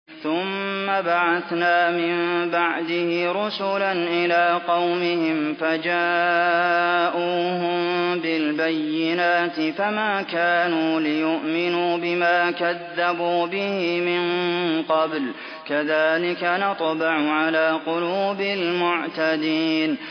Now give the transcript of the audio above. ثُمَّ بَعَثْنَا مِن بَعْدِهِ رُسُلًا إِلَىٰ قَوْمِهِمْ فَجَاءُوهُم بِالْبَيِّنَاتِ فَمَا كَانُوا لِيُؤْمِنُوا بِمَا كَذَّبُوا بِهِ مِن قَبْلُ ۚ كَذَٰلِكَ نَطْبَعُ عَلَىٰ قُلُوبِ الْمُعْتَدِينَ